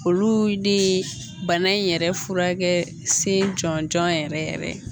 Olu de bana in yɛrɛ furakɛkɛ sen jɔnjɔn yɛrɛ ye.